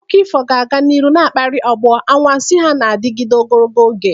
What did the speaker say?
Akụkọ ifo ga-aga n'ihu na-akpali ọgbọ, anwansi ha na-adịgide ogologo oge.